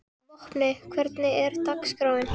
Vopni, hvernig er dagskráin?